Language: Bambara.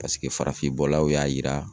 Paseke farafin bɔlaw y'a yira